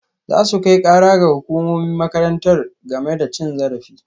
Za su kai kara ga hukumomin makarantar game da cin zarafi